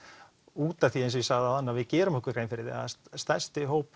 út af því eins og ég sagði áðan við gerum okkur grein fyrir því að stærsti hópur